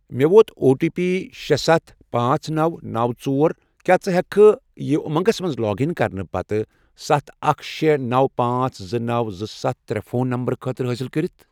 مےٚ ووت O T P شے، ستَھ، پانژھ، نوَ، نوَ، ژور، کیٛاہ ژٕ ہیٛککھا یہِ اُمنٛگس مَنٛز لاگ اِن کرنہٕ پتہٕ ستھ، اکھ، شے، نوَ، پانژھ، زٕ، نو، زٕ، ستھ، ترے، فون نمبرٕ خٲطرٕ استعمال کٔرِتھ؟